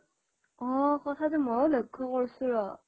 অ কথাটো মইও লক্ষ্য় কৰিছো ৰ